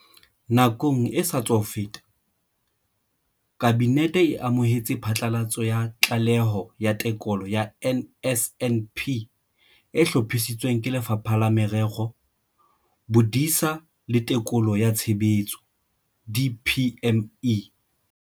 Nakong e sa tswa feta, Kabinete e amohetse phatlalatso ya Tlaleho ya Tekolo ya NSNP e hlophisitsweng ke Lefapha la Merero, Bodisa le Tekolo ya Tshebetso, DPME.